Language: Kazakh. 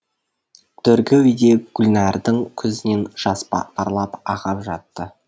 төргі үйде гүлнәрдің көзінен жас парлап ағып жатты